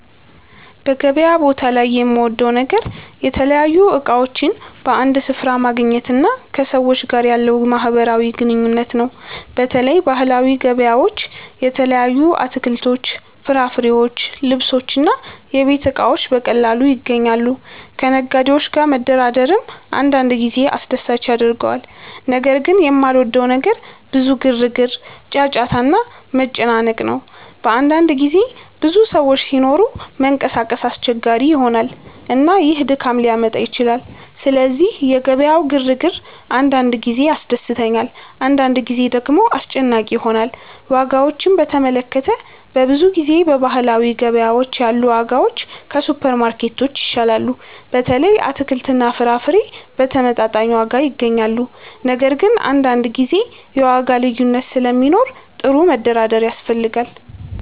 በገበያ ቦታ ላይ የምወደው ነገር የተለያዩ እቃዎችን በአንድ ስፍራ ማግኘት እና ከሰዎች ጋር ያለው ማህበራዊ ግንኙነት ነው። በተለይ ባህላዊ ገበያዎች የተለያዩ አትክልቶች፣ ፍራፍሬዎች፣ ልብሶች እና የቤት እቃዎች በቀላሉ ይገኛሉ። ከነጋዴዎች ጋር መደራደርም አንዳንድ ጊዜ አስደሳች ያደርገዋል። ነገር ግን የማልወደው ነገር ብዙ ግርግር፣ ጫጫታ እና መጨናነቅ ነው። በአንዳንድ ጊዜ ብዙ ሰዎች ሲኖሩ መንቀሳቀስ አስቸጋሪ ይሆናል፣ እና ይህ ድካም ሊያመጣ ይችላል። ስለዚህ የገበያው ግርግር አንዳንድ ጊዜ ያስደስተኛል፣ አንዳንድ ጊዜ ደግሞ አስጨናቂ ይሆናል። ዋጋዎችን በተመለከተ፣ በብዙ ጊዜ በባህላዊ ገበያዎች ያሉ ዋጋዎች ከሱፐርማርኬቶች ይሻላሉ። በተለይ አትክልትና ፍራፍሬ በተመጣጣኝ ዋጋ ይገኛሉ። ነገር ግን አንዳንድ ጊዜ የዋጋ ልዩነት ስለሚኖር ጥሩ መደራደር ያስፈልጋል።